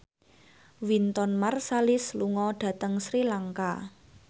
Wynton Marsalis lunga dhateng Sri Lanka